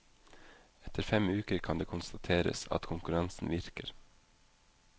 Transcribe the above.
Etter fem uker kan det konstateres at konkurransen virker.